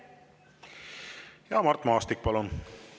Mart Maastik, palun!